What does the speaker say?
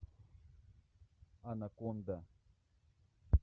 анаконда